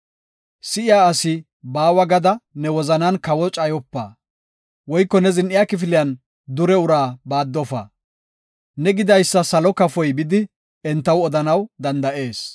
Si7iya asi baawa gada ne wozanan kawo cayopa; woyko ne zin7iya kifiliyan dure uraa baaddofa. Ne gidaysa salo kafoy bidi entaw odanaw danda7ees.